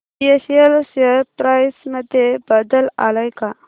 BSL share price मध्ये बदल आलाय का